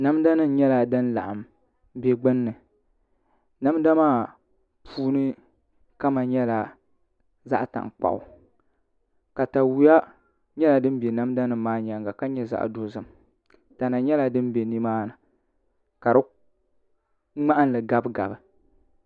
Namda nim nyɛla din laɣam bɛ gbunni namda maa puuni kama nyɛla zaɣ tankpaɣu katawiya nyɛla din bɛ namda nim maa nyaanga ka nyɛ zaɣ dozim tana nyɛla din bɛ nimaani ka di ŋmahanli gabi gabi